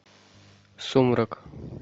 сумрак